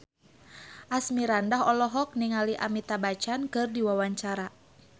Asmirandah olohok ningali Amitabh Bachchan keur diwawancara